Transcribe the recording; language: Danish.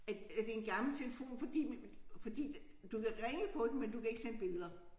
At øh det en gammel telefon fordi fordi du kan ringe på den men du kan ikke sende billeder